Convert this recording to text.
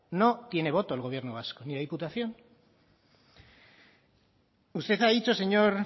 no tiene voto el gobierno vasco ni la diputación usted ha dicho señor